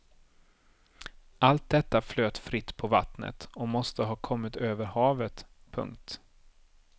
Allt detta flöt fritt på vattnet och måste ha kommit över havet. punkt